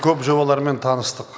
көп жобалармен таныстық